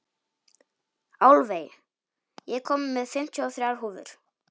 Álfey, ég kom með fimmtíu og þrjár húfur!